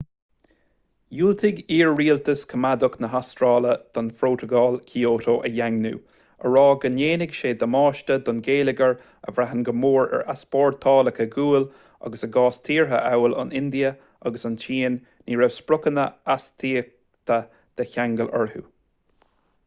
dhiúltaigh iar-rialtas coimeádach na hastráile don phrótacal kyoto a dhaingniú á rá go ndéanfadh sé damáiste don gheilleagar a bhraitheann go mór ar easpórtálacha guail agus i gcás tíortha amhail an india agus an tsín ní raibh spriocanna astaíochtaí de cheangal orthu